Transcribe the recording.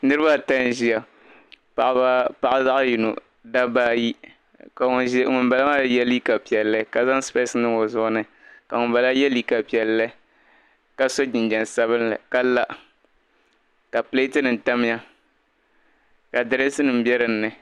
niriba ata n-ʒia paɣa zaɣ' yino dabba ayi ka ŋumbala maa ye liiga piɛlli ka zaŋ sipɛsi niŋ o zuɣu ni ka ŋumbala ye liiga piɛlli ka so jinjam sabilinli ka la ka pileetinima tamya ka dirinsi be di ni